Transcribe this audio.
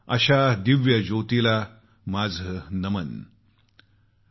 अशा दिव्यज्योतीला माझं नमन आहे